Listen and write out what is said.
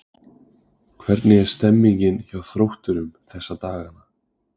Hvernig er stemningin hjá Þrótturum þessa dagana?